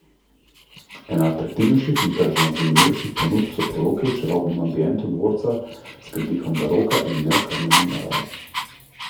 Ena atraktivnejših in tržno zanimivejših ponudb so poroke v čarobnem ambientu dvorca s pridihom baroka in neokrnjene narave.